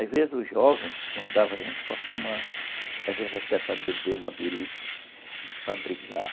Às vezes, os jovens nos convidavam para fumar, às vezes até para beber uma birita, para brigar.